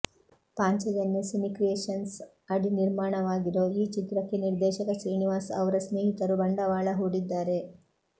Panchajanya cine creations ಅಡಿ ನಿರ್ಮಾಣವಾಗಿರೋ ಈ ಚಿತ್ರಕ್ಕೆ ನಿರ್ದೇಶಕ ಶ್ರೀನಿವಾಸ್ ಅವ್ರ ಸ್ನೇಹಿತರು ಬಂಡವಾಳ ಹೂಡಿದ್ದಾರೆ